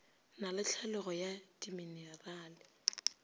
na le tlholego ya diminerale